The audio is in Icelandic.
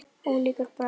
Ólíkur bragur.